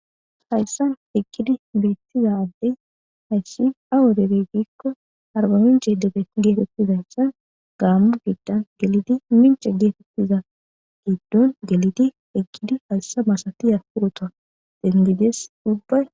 hayssan ekkidi beettiza addey hayssi awo debey biikko harba minche dee geetettizayssan gaammu gigdan gelidi minche geetettiza giddon gelidi ekidi hayssa masatiya purota dengidees ubbay